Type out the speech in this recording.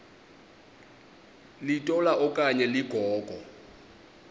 litola okanye ligogo